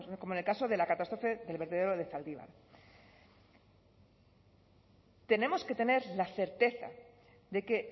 como en el caso de la catástrofe del vertedero de zaldívar tenemos que tener la certeza de que